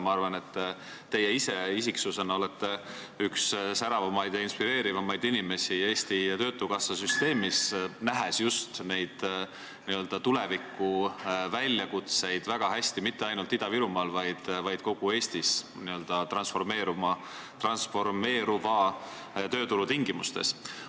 Ma arvan, et teie ise isiksusena olete üks säravamaid ja inspireerivamaid inimesi Eesti Töötukassa süsteemis, kes näeb väga hästi just neid tuleviku väljakutseid ja mitte ainult Ida-Virumaa, vaid kogu Eesti n-ö transformeeruva tööturu tingimustes.